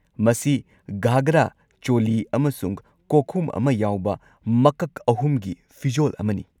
ꯃꯁꯤ ꯘꯒ꯭ꯔꯥ, ꯆꯣꯂꯤ ꯑꯃꯁꯨꯡ ꯀꯣꯛꯈꯨꯝ ꯑꯃ ꯌꯥꯎꯕ ꯃꯀꯛ ꯑꯍꯨꯝꯒꯤ ꯐꯤꯖꯣꯜ ꯑꯃꯅꯤ꯫